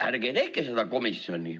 Ärge tehke seda komisjoni.